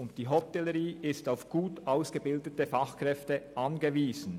Die Hotellerie ist auf gut ausgebildete Fachkräfte angewiesen.